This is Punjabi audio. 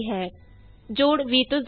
sum of a and b is 22